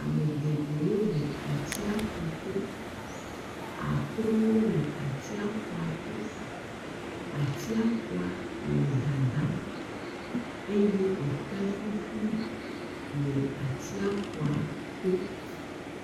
Ame geɖewo le atsiaƒu to, akorowo le atsiaƒua to, atsiaƒua le dadam, eye eke ƒuƒui le atsiaƒua to.